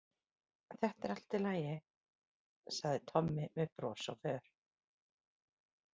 Þetta er allt í lagi, sagði Tommi með bros á vör.